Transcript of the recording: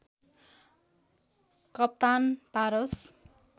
Kaptan Paras